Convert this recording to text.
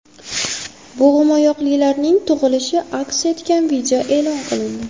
Bo‘g‘imoyoqlilarning tug‘ilishi aks etgan video e’lon qilindi.